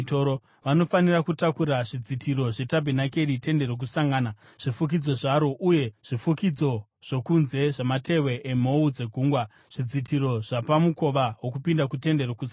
Vanofanira kutakura zvidzitiro zvetabhenakeri, Tende Rokusangana, zvifukidzo zvaro uye zvifukidzo zvokunze zvamatehwe emhou dzegungwa, zvidzitiro zvapamukova wokupinda kuTende Rokusangana,